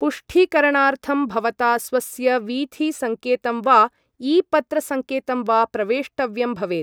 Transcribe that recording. पुष्टीकरणार्थं भवता स्वस्य वीथि सङ्केतं वा ई पत्र सङ्केतं वा प्रवेष्टव्यं भवेत् ।